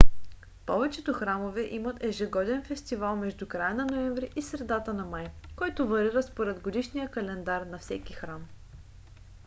повечето храмове имат ежегоден фестивал между края на ноември и средата на май който варира според годишния календар на всеки храм